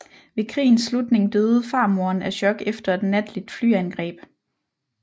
Ved krigens slutning døde farmoren af chok efter et natligt flyangreb